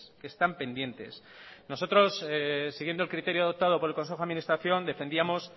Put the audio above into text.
que están pendientes nosotros siguiendo el criterio adoptado por el consejo de administración defendamos